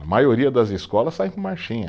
A maioria das escolas saem com marchinha.